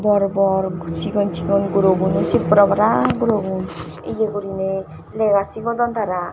bor bor guri sigon sigon guro guno sip pure para guro gun ye gurinei lega sigodon tara.